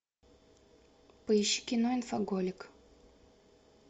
поищи кино инфоголик